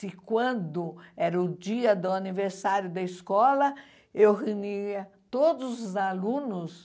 Se quando era o dia do aniversário da escola, eu reunia todos os alunos